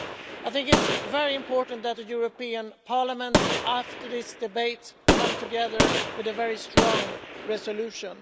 I think it's very important that this Parliament, after this debate, comes together with a very strong resolution.